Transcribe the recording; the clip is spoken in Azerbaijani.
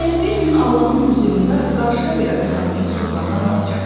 Yəni bir gün Allahın hüzurunda qarışqa belə öz haqqını Sultandan alacaq.